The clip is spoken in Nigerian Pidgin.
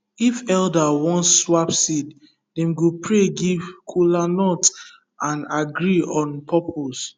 if elder wan swap seed dem go pray give kola nut and agree on purpose